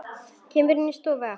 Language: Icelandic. Kemur inn í stofuna aftur.